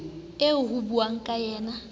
eo ho buuwang ka yena